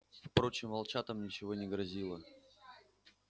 впрочем волчатам ничего не грозило